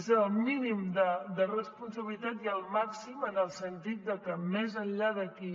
és el mínim de responsabilitat i el màxim en el sentit que més enllà d’aquí